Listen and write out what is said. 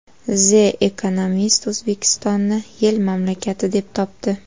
The Economist O‘zbekistonni yil mamlakati deb topdi.